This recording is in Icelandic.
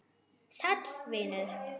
Sæll, vinur.